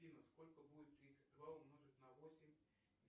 афина сколько будет тридцать два умножить на восемь